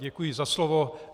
Děkuji za slovo.